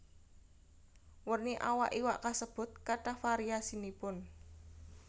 Werni awak iwak kasebut kathah variasinipun